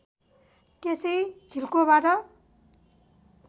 त्यसै झिल्कोबाट